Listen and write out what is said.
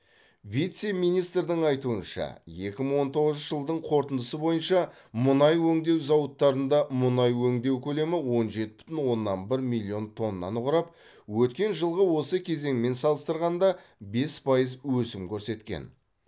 вице министрдің айтуынша екі мың он тоғызыншы жылдың қорытындысы бойынша мұнай өңдеу зауыттарында мұнай өңдеу көлемі он жеті бүтін оннан бір миллион тоннаны құрап өткен жылғы осы кезеңмен салыстырғанда бес пайыз өсім көрсеткен